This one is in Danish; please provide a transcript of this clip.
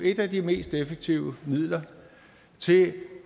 et af de mest effektive midler til